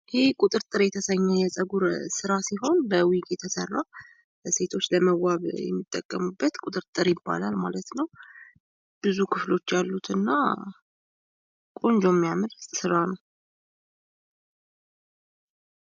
ይህ ቁጥጥር የተሰኘ የጸጉር ስራ ሲሆን ሴቶች ለመዋብ የሚጠቀሙበት ቁጥጥር ይባላል ማለት ነው። ብዙ ክፍሎች ያሉት እና ቆንጆ የሚያምር ስራ ነው።